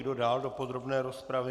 Kdo dál do podrobné rozpravy?